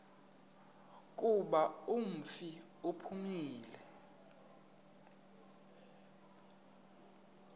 kuba umfi uphumile